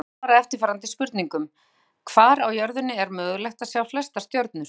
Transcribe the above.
Hér er einnig svarað eftirfarandi spurningum: Hvar á jörðinni er mögulegt að sjá flestar stjörnur?